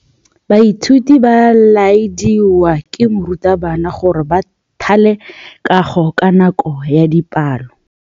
Baithuti ba laeditswe ke morutabana gore ba thale kagô ka nako ya dipalô.